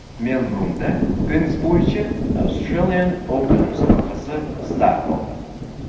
Melburnda tennis bo‘yicha Australian Open musobaqasi start oldi.